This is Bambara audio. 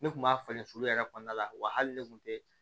Ne kun b'a falen sulu yɛrɛ kɔnɔna la wa hali ne kun tɛ